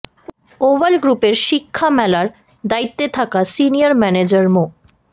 oval গ্রুপের শিক্ষা মেলার দায়িত্বে থাকা সিনিয়র ম্যানেজার মো